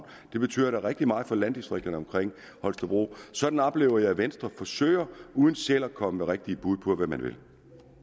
det betyder da rigtig meget for landdistrikterne omkring holstebro sådan oplever jeg at venstre forsøger at uden selv at komme med rigtige bud på hvad man vil